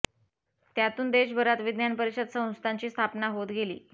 त्यातून देशभरात विज्ञान परिषद संस्थांची स्थापना होत गेली